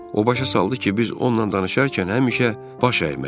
O başa saldı ki, biz onunla danışarkən həmişə baş əyməli.